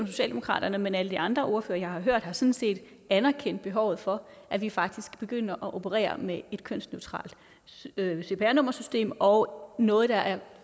socialdemokraterne men alle de andre ordførere jeg har hørt har sådan set anerkendt behovet for at vi faktisk begynder at operere med et kønsneutralt cpr nummersystem og noget der